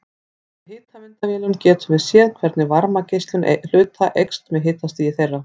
Með hitamyndavélum getum við séð hvernig varmageislun hluta eykst með hitastigi þeirra.